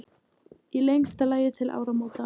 Í lengsta lagi til áramóta.